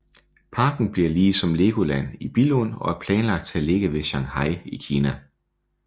Parken bliver lige som Legoland i Billund og er planlagt til at ligge ved Shanghai i Kina